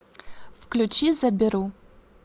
включи заберу